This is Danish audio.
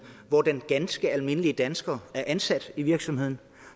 hvor den ganske almindelige dansker er ansat i virksomheden